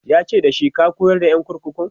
yace dashi"ka koyar da ƴan kurkukun!"